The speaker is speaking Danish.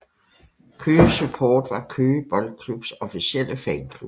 Køge Support var Køge Boldklubs officielle fanklub